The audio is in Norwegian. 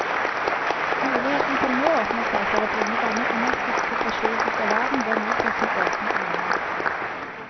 Mulighetene som nå åpner seg for å bringe denne underskuddssituasjon ut av verden, bør mottas med åpne armer.